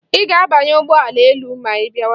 Ị ga-abanye ụgbọ elu ma ị bịawa.